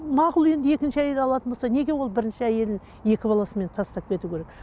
мақұл енді екінші әйел алатын болса неге ол бірінші әйелін екі баласымен тастап кетуі керек